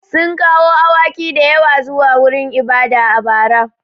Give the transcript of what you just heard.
Sun kawo awaki da yawa zuwa wurin ibada a bara.